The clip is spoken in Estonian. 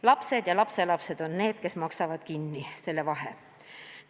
Lapsed ja lapselapsed on need, kes maksavad kinni selle vahe.